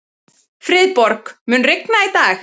Friðborg, mun rigna í dag?